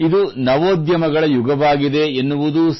ನಿಜವಾದ ಮಾತು ಏನೆಂದರೆ ಇದು ನವೋದ್ಯಮಗಳ ಯುಗವಾಗಿದೆ